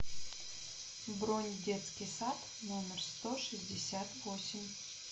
бронь детский сад номер сто шестьдесят восемь